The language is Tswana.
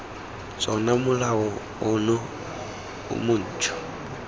tsona molao ono o montšhwa